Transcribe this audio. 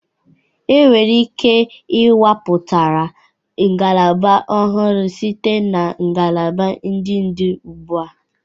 E nwere ike ikewapụta ngalaba ọhụrụ site na ngalaba ndị dị ugbua.